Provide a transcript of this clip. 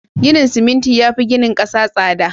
Ginin siminti yafi ginin 'kasa tsada